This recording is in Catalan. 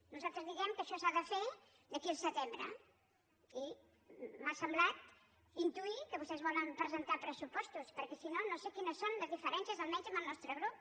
nosaltres diem que això s’ha de fer d’aquí al setembre i m’ha semblat intuir que vostès volen presentar pressupostos perquè si no no sé quines són les diferències almenys amb el nostre grup